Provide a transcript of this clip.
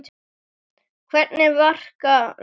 Hvernig verka, Lárus?